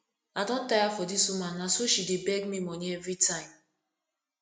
i don tire for dis woman na so she dey beg me money everytime